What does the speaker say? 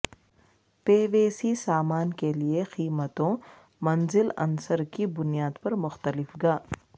PVC سامان کے لئے قیمتوں منزل عنصر کی بنیاد پر مختلف گا